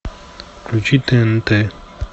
включи тнт